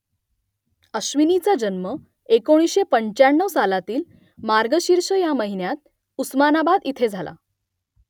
अश्विनीचा जन्म एकोणीसशे पंच्याण्णव सालातील मार्गशीर्ष या महिन्यात उस्मानाबाद इथे झाला